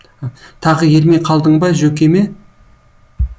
тағы ермей қалдың ба жөкеме